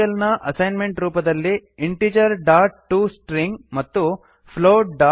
ಈ ಟ್ಯುಟೋರಿಯಲ್ ನ ಅಸೈನ್ಮೆಂಟ್ ರೂಪದಲ್ಲಿIntegertoString ಇಂಟೀಜರ್ ಡಾಟ್ ಟುಸ್ಟ್ರಿಂಗ್ ಮತ್ತು floatಟೋಸ್ಟ್ರಿಂಗ್